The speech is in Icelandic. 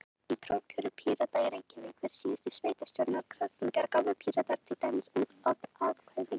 Í prófkjöri Pírata í Reykjavík fyrir síðustu sveitastjórnarkosningar gáfu Píratar til dæmis út öll atkvæðin.